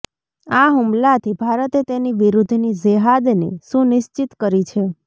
આ હુમલાથી ભારતે તેની વિરુદ્ધની જેહાદને સુનિશ્ચિત કરી છે